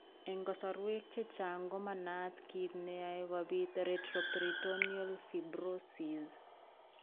Eng' kasarwek chechang ko manaat kiit neyoe kobit retroperitoneal fibrosis?